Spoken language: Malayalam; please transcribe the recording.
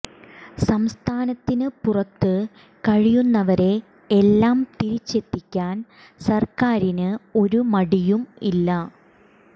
സംസ്ഥാനത്തിന് പുറത്ത് കഴിയുന്നവരെ എല്ലാം തിരിച്ചെത്തിക്കാൻ സര്ക്കാരിന് ഒരു മടിയും ഇല്ല